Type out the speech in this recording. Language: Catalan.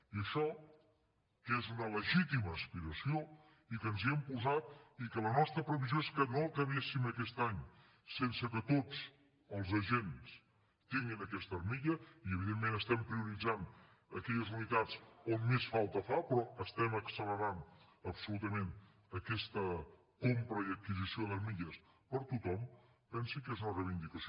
i això que és una legítima aspiració i que ens hi hem posat i que la nostra previsió és que no acabéssim aquest any sense que tots els agents tinguin aquesta armilla i evidentment estem prioritzant aquelles unitats on més falta fa però estem accelerant absolutament aquesta compra i adquisició d’armilles per a tothom pensi que és una reivindicació